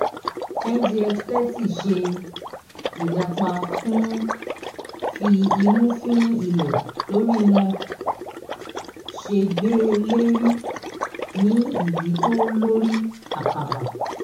ngx thirty ṣe ìlapa fí imú fín ilẹ̀ lórí wọn ṣe gbé lérí ní iyì tó lórí akàbà.